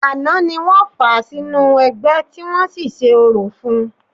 Àná ni wọ́n fà á sínú ẹgbẹ́, tí wọ́n sì ṣe orò fún-un